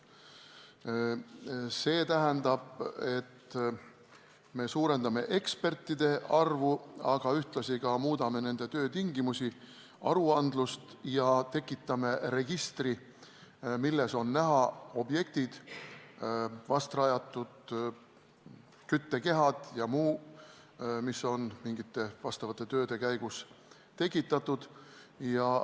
See tähendab, et me suurendame ekspertide arvu, aga ühtlasi muudame ka nende töötingimusi ja aruandlust ning tekitame registri, milles on näha objektid, vast paigaldatud küttekehad ja muu, mis on mingite teatud tööde käigus valminud.